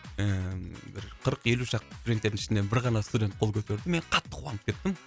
ііі бір қырық елу шақты студенттердің ішінен бір ғана студент қол көтерді мен қатты қуанып кеттім